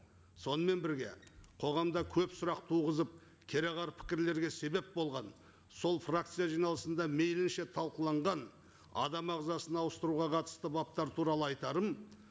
сонымен бірге қоғамда көп сұрақ туғызып кереғар пікірлерге себеп болған сол фракция жиналысында мейлінше талқыланған адам ағзасын ауыстыруға қатысты баптар туралы айтарым